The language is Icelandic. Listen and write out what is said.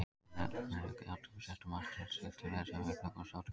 Við nánari athugun sést að margt er skylt með þessum hugtökum og notkun þeirra.